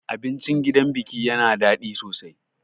Abincin gidan biki yana daɗi sosai.